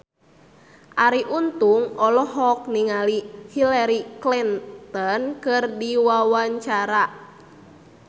Arie Untung olohok ningali Hillary Clinton keur diwawancara